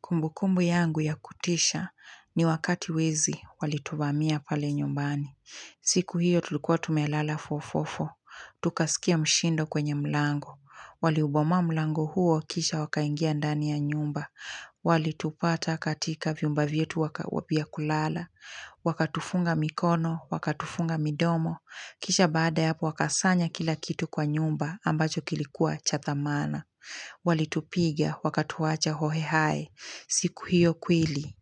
Kumbukumbu yangu ya kutisha ni wakati wezi walituvamia pale nyumbani. Siku hiyo tulikuwa tumelala fofofo. Tukasikia mshindo kwenye mlango. Waliubomoa mlango huo kisha wakaingia ndani ya nyumba. Walitupata katika vyumba vyetu vya kulala. Wakatufunga mikono, wakatufunga midomo. Kisha baada ya hapo wakasanya kila kitu kwa nyumba ambacho kilikuwa cha dhamana. Walitupiga wakatuwacha hohehahe. Siku hiyo kweli